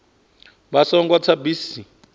vha songo tsa kha bisi